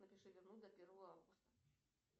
напиши верну до первого августа